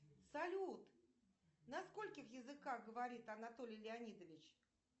салют на скольких языках говорит анатолий леонидович